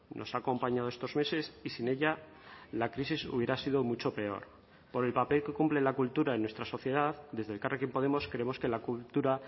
nos ha acompañado estos meses y sin ella la crisis hubiera sido mucho peor por el papel que cumple la cultura en nuestra sociedad desde elkarrekin podemos creemos que la cultura